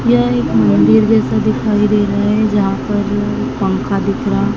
यह एक मंदिर जैसा दिखाई दे रहा है जहां पर पंखा दिख रहा--